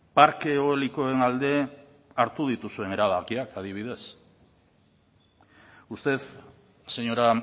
parke eolikoen alde hartu dituzuen erabakiak adibidez usted señora